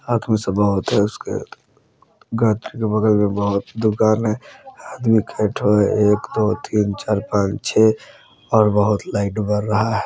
आत्म सभा होता है उसके बगल में बहुत दुकान है आदमी के ठो है एक दो तीन चार पांच छ और बहुत लाइट बड़ रहा है।